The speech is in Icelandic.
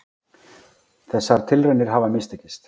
Þessar tilraunir hafa mistekist.